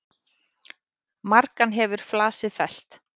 Margan hefur flasið fellt.